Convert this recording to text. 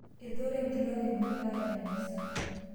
etooro enkitok enye endaa te misa